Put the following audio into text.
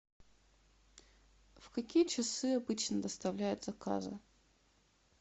в какие часы обычно доставляют заказы